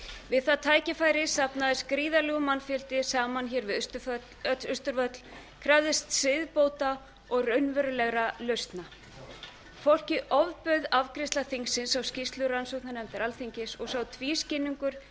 við það tækifæri safnaðist gríðarlegur mannfjöldi saman hér við austurvöll krafðist siðbóta og raunverulegra lausna fólki ofbauð afgreiðsla þingsins á skýrslu rannsóknarnefndar alþingis og sá tvískinnungur